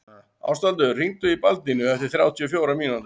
Ástvaldur, hringdu í Baldínu eftir þrjátíu og fjórar mínútur.